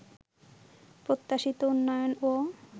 প্রত্যাশিত উন্নয়নও